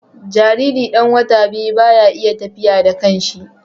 Jariri ɗan wata biyu baya iya tafiya da kanshi